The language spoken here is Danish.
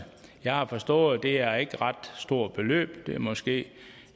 jeg har forstået at det ikke er et ret stort beløb det er måske